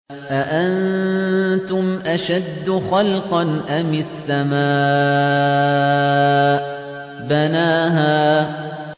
أَأَنتُمْ أَشَدُّ خَلْقًا أَمِ السَّمَاءُ ۚ بَنَاهَا